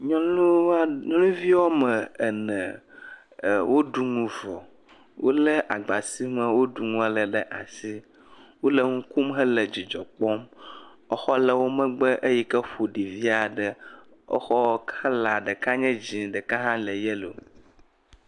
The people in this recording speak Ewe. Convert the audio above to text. Nyɔnu woa..nyɔnuvi woame ene woɖu nu vɔ wolé agba si me woɖu nu le vɔ la ɖe asi, wole nu kom hele dzidzɔ kpɔm exɔ le wo megbe yi ke ƒoɖi vi aɖe, exɔ ɖeka le dzɛ̃ ɖeka hã le yellow.